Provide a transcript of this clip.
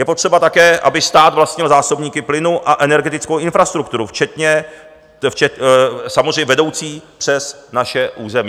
Je potřeba také, aby stát vlastnil zásobníky plynu a energetickou infrastrukturu samozřejmě vedoucí přes naše území.